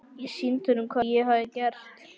Ég sýndi honum hvað ég hafði gert.